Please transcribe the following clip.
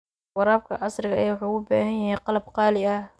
Waraabka casriga ahi wuxuu u baahan yahay qalab qaali ah.